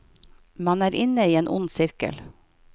Man er inne i en ond sirkel.